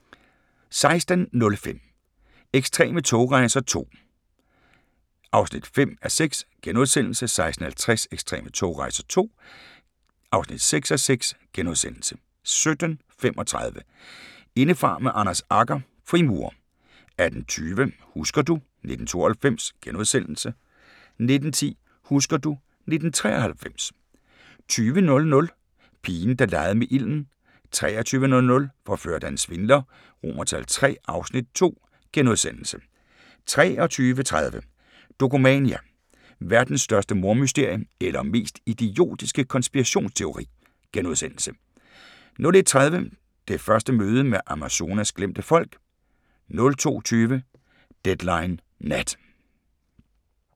16:05: Ekstreme togrejser II (5:6)* 16:50: Ekstreme togrejser II (6:6)* 17:35: Indefra med Anders Agger – Frimurer 18:20: Husker du ... 1992 * 19:10: Husker du ... 1993 20:00: Pigen der legede med ilden 23:00: Forført af en svindler III (Afs. 2)* 23:30: Dokumania: Verdens største mordmysterie – eller mest idiotiske konspirationsteori? * 01:30: Det første møde med Amazonas glemte folk 02:20: Deadline Nat